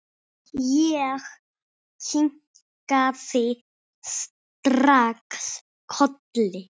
Ég kinkaði strax kolli.